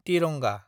तिरंगा